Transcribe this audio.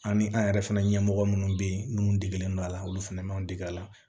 An ni an yɛrɛ fana ɲɛmɔgɔ minnu bɛ yen n'u degelen don a la olu fɛnɛ man deg'a la